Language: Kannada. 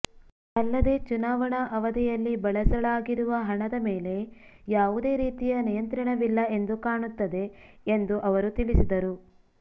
ಅಲ್ಲದೆ ಚುನಾವಣಾ ಅವಧಿಯಲ್ಲಿ ಬಳಸಳಾಗಿರುವ ಹಣದ ಮೇಲೆ ಯಾವುದೇ ರೀತಿಯ ನಿಯಂತ್ರಣವಿಲ್ಲ ಎಂದು ಕಾಣುತ್ತದೆ ಎಂದು ಅವರು ತಿಳಿಸಿದರು